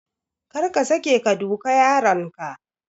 Kar ka sake ka duka yaronka.